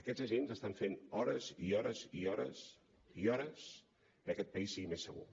aquests agents estan fent hores i hores i hores i hores perquè aquest país sigui més segur